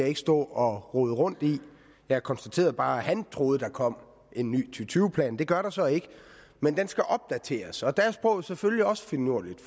ikke stå og rode rundt i jeg konstaterede bare at han troede at der kom en ny og tyve plan det gør der så ikke men den skal opdateres og der er sproget selvfølgelig også finurligt